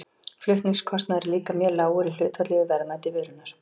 flutningskostnaður er líka mjög lágur í hlutfalli við verðmæti vörunnar